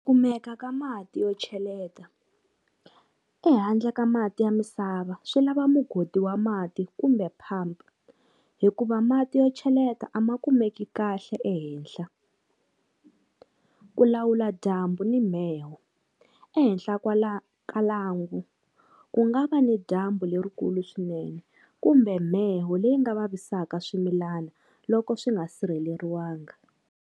Kumeka ka mati yo cheleta, ehandle ka mati ya misava swi lava mugodi wa mati kumbe pump hikuva mati yo cheleta a ma kumeki kahle ehenhla. Ku lawula dyambu ni mheho, ehenhla kwala ka lwangu ku nga va ni dyambu lerikulu swinene kumbe mheho leyi nga vavisaka swimilana loko swi nga sirheleriwanga.